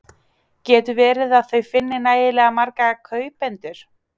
Getur verið að þau finni nægilega marga kaupendur?